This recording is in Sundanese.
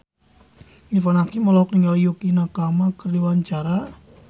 Irfan Hakim olohok ningali Yukie Nakama keur diwawancara